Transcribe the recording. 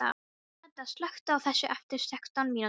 Meda, slökktu á þessu eftir sextán mínútur.